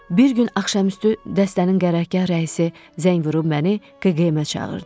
Bir gün axşamüstü dəstənin qərargah rəisi zəng vurub məni KQM-ə çağırdı.